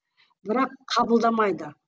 бірақ қабылдамайды